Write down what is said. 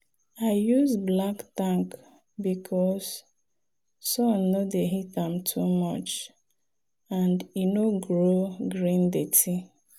i use black tank because sun no dey heat am too much and e no grow green dirty.